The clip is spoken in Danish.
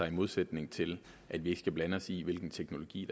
i modsætning til at vi ikke skal blande os i hvilken teknologi